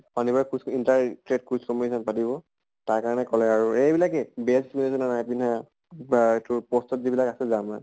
শনিবাৰে quiz inter track quiz competition পাতিব| তাৰ কাৰণে কলে আৰু এহ এইবিলাকে dress নাই পিন্ধা বা তোৰ post ত যিবিলাক আছে যে আমাৰ।